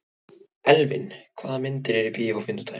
Elvin, hvaða myndir eru í bíó á fimmtudaginn?